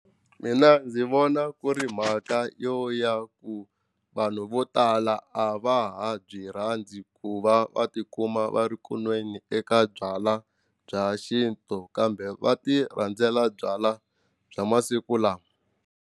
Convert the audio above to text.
Mina ndzi vona ku ri mhaka yo ya ku vanhu vo tala a va ha byi rhandzi ku va va tikuma va ri kunweni eka byala bya xintu kambe va ti rhandzela byala bya masiku lama.